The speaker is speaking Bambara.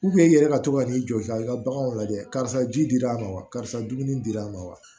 i yɛrɛ ka to ka n'i jɔ i ka i ka baganw lajɛ karisa ji dir'a ma wa karisa dumuni dira a ma wa